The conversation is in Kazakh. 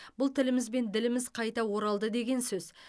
бұл тіліміз бен діліміз қайта оралды деген сөз